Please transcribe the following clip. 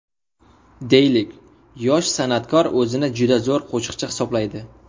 Deylik, yosh sanatkor o‘zini juda zo‘r qo‘shiqchi hisoblaydi.